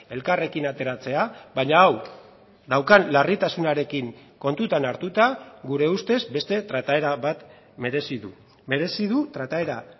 elkarrekin ateratzea baina hau daukan larritasunarekin kontutan hartuta gure ustez beste trataera bat merezi du merezi du trataera